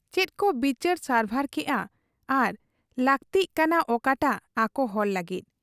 ᱪᱮᱫᱠᱚ ᱵᱤᱪᱟᱹᱨ ᱥᱟᱨᱵᱷᱟᱨ ᱠᱮᱜ ᱟ ᱟᱨ ᱞᱟᱟᱹᱠᱛᱤᱜ ᱠᱟᱱᱟ ᱚᱠᱟᱴᱟᱝ ᱟᱠᱚᱦᱚᱲ ᱞᱟᱹᱜᱤᱫ ᱾